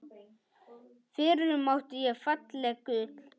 FYRRUM ÁTTI ÉG FALLEG GULL